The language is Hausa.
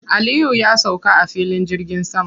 Aliyu ya sauka a filin jirgin sama.